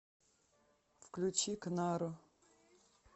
включи кнару